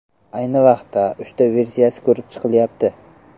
Ayni vaqtda uchta versiya ko‘rib chiqilyapti.